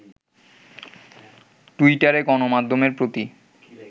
টুইটারে গণমাধ্যমের প্রতি